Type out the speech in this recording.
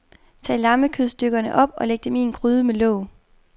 Tag lammekødstykkerne op og læg dem i en gryde med låg.